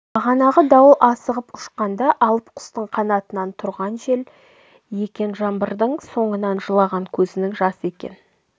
бағанағы дауыл асығып ұшқанда алып құстың қанатынан тұрған жел екен жаңбыр соның жылаған көзінің жасы екен